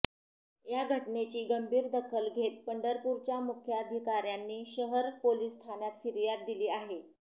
या घटनेची गंभीर दखल घेत पंढरपूरच्या मुख्याधिकाऱयांनी शहर पोलीस ठाण्यात फिर्याद दिली आहे